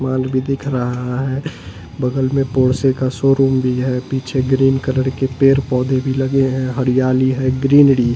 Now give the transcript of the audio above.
माल भी दिख रहा है बगल में पोर्से का शोरूम भी है पीछे ग्रीन कलर के पेर पौधे भी लगे हैं हरियाली है ग्रीनरी --